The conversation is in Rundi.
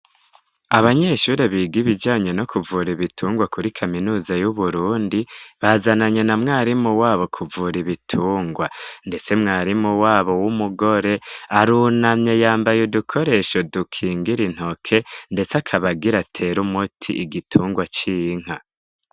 Abanyeshuri biga ibijanye no kuvura ibitungwa kuri Kaminuza y'uburundi bazananye na mwarimu wabo kuvura ibitungwa ndetse mwarimu wabo w'umugore arunamye yambaye udukoresho dukingira intoke ndetse akabagira tera umuti igitungwa c'inka.